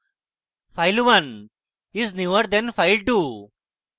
file1 is newer than file2